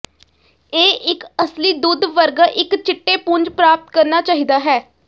ਇਹ ਇੱਕ ਅਸਲੀ ਦੁੱਧ ਵਰਗਾ ਇੱਕ ਚਿੱਟੇ ਪੁੰਜ ਪ੍ਰਾਪਤ ਕਰਨਾ ਚਾਹੀਦਾ ਹੈ